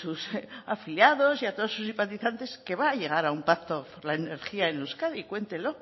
sus afiliados y a todos sus simpatizantes que va a llegar a un pacto por la energía en euskadi cuéntelo